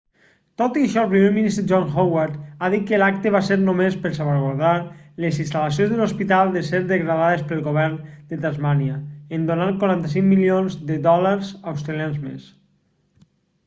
tot i això el primer ministre john howard ha dit que l'acte va ser només per salvaguardar les instal·lacions de l'hospital de ser degradades pel govern de tasmània en donar 45 milions de dòlars australians més